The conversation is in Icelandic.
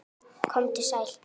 Komdu sæll.